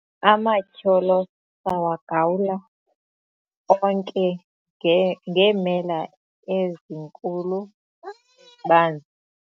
amatyholo sawagawula onke ngeemela ezinkulu ezibanzi